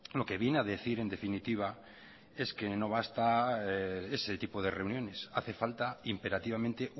lo que viene a decir en definitiva es que no basta ese tipo de reuniones hace falta imperativamente